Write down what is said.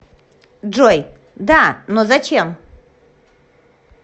джой да но зачем